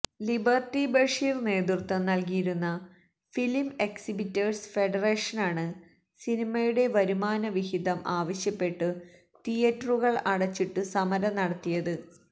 liberty Basheer നേതൃത്വം നൽകിയിരുന്ന film exhibitors ഫെഡറേഷനാണ് സിനിമയുടെ വരുമാനവിഹിതം ആവശ്യപ്പെട്ടു തിയേറ്ററുകൾ അടച്ചിട്ടു സമരം നടത്തിയത്